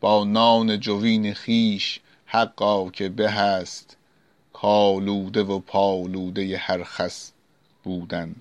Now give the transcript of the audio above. با نان جوین خویش حقا که به است کآلوده و پالوده هر خس بودن